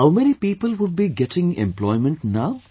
How many people would be getting employment now